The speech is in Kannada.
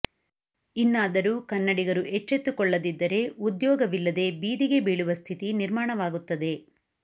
ಇನ್ನಾದರೂ ಕನ್ನಡಿಗರು ಎಚ್ಚೆತ್ತುಕೊಳ್ಳದಿ ದ್ದರೆ ಉದ್ಯೋಗವಿಲ್ಲದೆ ಬೀದಿಗೆ ಬೀಳುವ ಸ್ಥಿತಿ ನಿರ್ಮಾಣವಾಗುತ್ತದೆ